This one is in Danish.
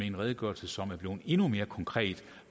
en redegørelse som er blevet endnu mere konkret